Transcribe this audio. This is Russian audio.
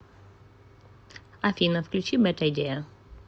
афина включи бэд айдиа